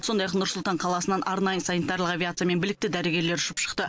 сондай ақ нұр сұлтан қаласынан арнайы санитарлық авиациямен білікті дәрігерлер ұшып шықты